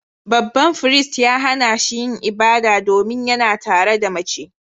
Babban firist ya hana shi yin ibada, domin yana tare da mace